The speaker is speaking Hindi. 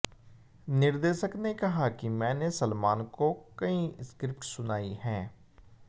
निर्देशक ने कहा कि मैंने सलमान को कई स्क्रिप्ट सुनाई हैं